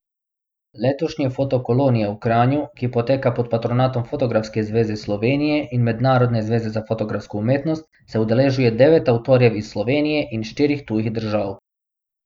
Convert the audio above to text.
Letošnje foto kolonije v Kranju, ki poteka pod patronatom Fotografske zveze Slovenije in Mednarodne zveze za fotografsko umetnost, se udeležuje devet avtorjev iz Slovenije in štirih tujih držav.